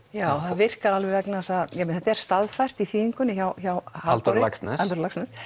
já það virkar alveg vegna þess að þetta er staðfært í þýðingunni hjá Halldóri Laxness Halldóri Laxness